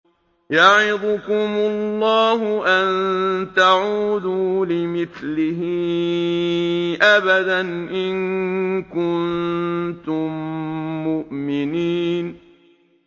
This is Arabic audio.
يَعِظُكُمُ اللَّهُ أَن تَعُودُوا لِمِثْلِهِ أَبَدًا إِن كُنتُم مُّؤْمِنِينَ